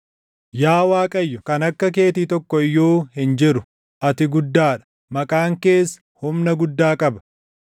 Yaa Waaqayyo kan akka keetii tokko iyyuu hin jiru; ati guddaa dha; maqaan kees humna guddaa qaba.